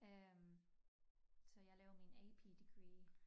Øh så jeg lavede min AP degree